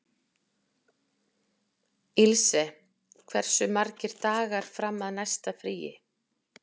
Ilse, hversu margir dagar fram að næsta fríi?